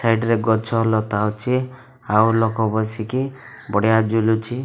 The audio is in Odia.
ସାଇଡ ରେ ଗଛ ଲତା ଅଛି ଆଉ ଲୋକ ବସିକି ବଢିଆ ଝୁଲୁଛି।